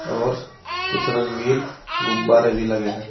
और कुछ रंगीन गुब्बारे भी लगे हैं।